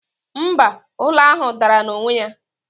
mba, ụlọ ahụ dara n'onwe ya